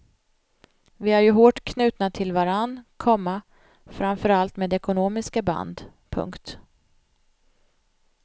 Vi är ju hårt knutna till varann, komma framför allt med ekonomiska band. punkt